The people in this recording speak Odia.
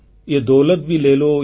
ୟହ ଦୌଲତ ଭି ଲେ ଲୋ